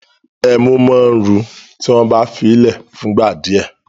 Ẹmú ma ru tí wọ́n bá fíì lẹ̀ fún ìgbà díẹ̀